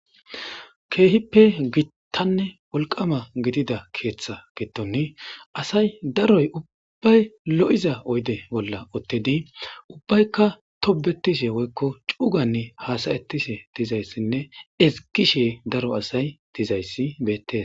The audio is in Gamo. Keehippe gitanne wolqama gidida keeththa giddoni asay daroy ubbay lo'iza oyde bolla uttidi ubbaykka tobbetishe woykko cugani haasa'etishe dizayssinne ezgishe daro asay dizayssi beetees.